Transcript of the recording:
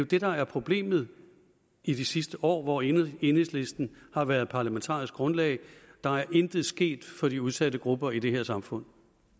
det der er problemet i det sidste år hvor enhedslisten har været parlamentarisk grundlag der er intet sket for de udsatte grupper i det her samfund